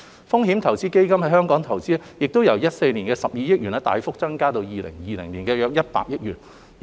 風險投資基金在本港的投資亦由2014年的12億元大幅增加至2020年的約100億元。